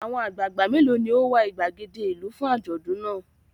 Àwọn àgbàgbà mélòó ni ó wà ìgbàgede ìlú fún àjọ̀dún náà?